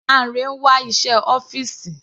Lanre ń wá iṣẹ́ ọ́fìsì.